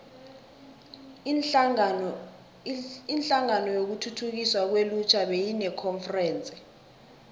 inhlangano yokuthuthukiswa kwelutjha beyinekonferense